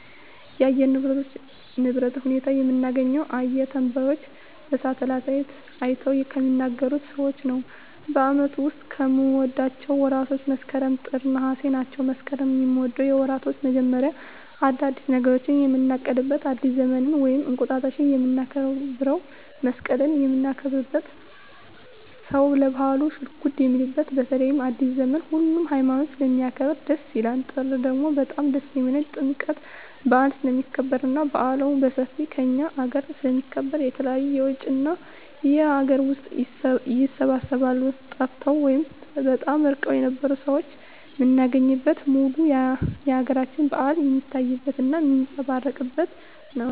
የአየር ንብረቶች ንብረት ሁኔታ የምናገኘው አየረ ተነባዩች በሳሀትአላይት አይተው ከሚናገሩት ሰዎች ነው በአመቱ ዉስጥ ከምወዳቸው ወራቶች መስከረም ጥር ነሃሴ ናቸው መስከረምን ምወደው የወራቶች መጀመሪያ አዳዲስ ነገሮችን ምናቅድበት አዲስ ዘመንን ወይም እንቁጣጣሽ ምናከብረው መሰቀልን ምናከብርበት ሰው ለባህሉ ሽርጉድ ሚልበት በተለይ አዲሰ ዘመንን ሁሉ ሀይማኖት ስለሚያከብር ደስ ይላል ጥር ደግሞ በጣም ደስ የሚልኝ ጥምቀት በአል ስለሚከበር እና በአሉ በሠፌው ከእኛ አገረ ስለሚከበር የተለያዩ የውጭ እና የአገር ውስጥ ይሰባሰባሉ ጠፍተው ወይም በጣም እርቀዉን የነበሩ ሠዎች ምናገኝበት ሙሉ የአገራችን በአል ሜታይበት እና ሜጸባረቅበት ነው